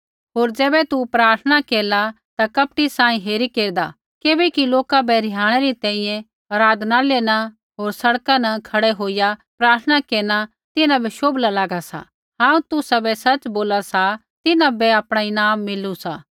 होर ज़ैबै तू प्रार्थना केरला ता कपटी सांही हेरी केरदा किबैकि लोका बै रिहाणै री तैंईंयैं आराधनालय न होर सड़का न खड़ै होईया प्रार्थना केरना तिन्हां बै शोभला लागा सा हांऊँ तुसाबै सच़ बोला सा तिन्हां बै आपणा ईनाम मिलू